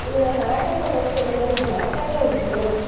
ಇಲ್ಲ ನಾಟಕ ನೋಡ್ತೇನೆ ಅಂದರೆ ನಾಟಕ ಉಂಟು.